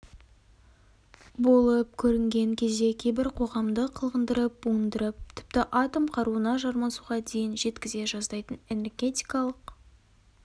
болып көрінген кезде кейбір қоғамды қылғындырып буындырып тіпті атом қаруына жармасуға дейін жеткізе жаздайтын энергетикалық